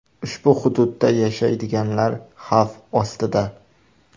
Ushbu hududda yashaydiganlar xavf ostida.